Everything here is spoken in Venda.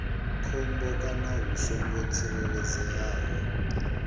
khombo kana hu songo tsireledzeaho